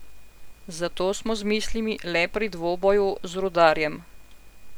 Zato smo z mislimi le pri dvoboju z Rudarjem.